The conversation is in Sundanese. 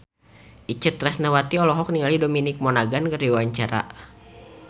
Itje Tresnawati olohok ningali Dominic Monaghan keur diwawancara